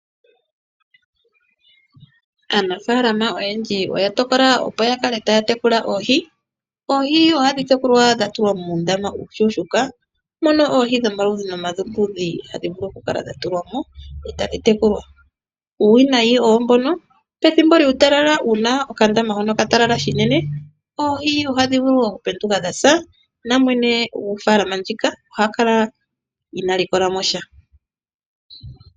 Aanafaalama oyendji oya tokola opo yakale taya tekula oohi .Oohi ohadhi tekulwa dhatulwa muundama uushuushuuka mono oohi dhomaludhi nomaludhi hadhi vulu okukala dhatulwamo , etadhi tekulwa . Uuwinayi owo mbyono kutya pethimbo lyuutalala uuna okandama hono katalala shinene oohi ohadhi vulu oku penduka dhasa namwene gofaalama ndjika oha kala inaa likolwamo sha.